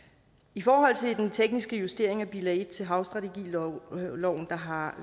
i forhold til den tekniske justering af bilag en til havstrategiloven har